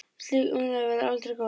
Slík umræða verður aldrei góð.